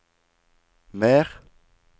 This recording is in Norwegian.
mer